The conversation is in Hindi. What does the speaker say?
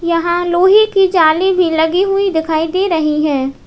यहां लोहे की जाली भी लगी हुई दिखाई दे रही है।